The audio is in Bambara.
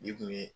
N'i kun ye